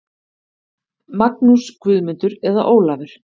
Magnús, Guðmundur eða Ólafur.